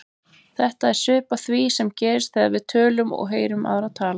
Þetta er svipað því sem gerist þegar við tölum og heyrum aðra tala.